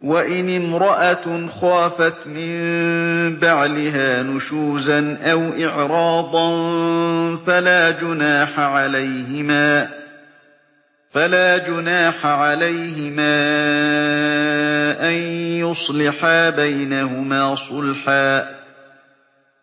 وَإِنِ امْرَأَةٌ خَافَتْ مِن بَعْلِهَا نُشُوزًا أَوْ إِعْرَاضًا فَلَا جُنَاحَ عَلَيْهِمَا أَن يُصْلِحَا بَيْنَهُمَا صُلْحًا ۚ